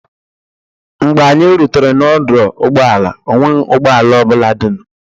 Mgbe anyị rutere n'ọdụ ụgbọala, ọ nweghị ụgbọ ala ọ bụla dịnụ.